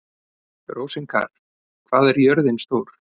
Rósinkar, hvað er jörðin stór?